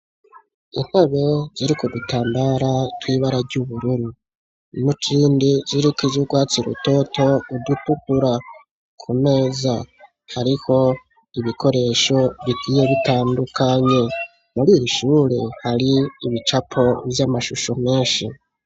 Intebe, ziri ku dutambara twibara ry'ubururu, nutindi ziriko izugwatsi ru toto ,udupupura ku meza hariho ibikoresho, bigiye bitandukanye, muri iri shure hari ibicapo vy'amashusho menshi.